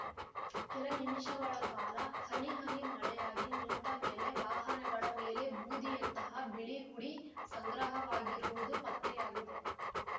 ಕೆಲ ನಿಮಿಷಗಳ ಕಾಲ ಹನಿಹನಿ ಮಳೆಯಾಗಿ ನಿಂತ ಮೇಲೆ ವಾಹನಗಳ ಮೇಲೆ ಬೂದಿಯಂತಹ ಬಿಳಿ ಹುಡಿ ಸಂಗ್ರಹವಾಗಿರುವುದು ಪತ್ತೆಯಾಗಿದೆ